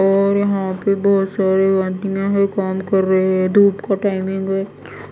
और यहाँ पे बहुत सारे एंटीना हैं काम कर रहे हैं धूप का टाइमिंग है